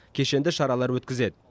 кешенді шаралар өткізеді